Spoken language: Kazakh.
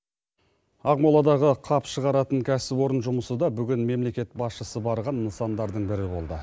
ақмоладағы қап шығаратын кәсіпорын жұмысы да бүгін мемлекет басшысы барған нысандардың бірі болды